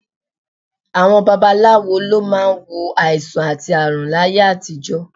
Àwọn babaláwo ló máa ń wo àìsàn àti ààrùn láyé àtijọ́